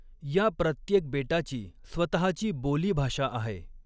या प्रत्येक बेटाची स्वतःची बोलीभाषा आहे.